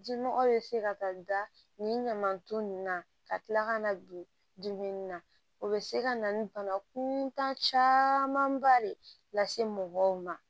Jinɔgɔ bɛ se ka taa da nin ɲamanton ninnu na ka kila ka na bi dumuni na o bɛ se ka na ni bana kuntan camanba de lase mɔgɔw ma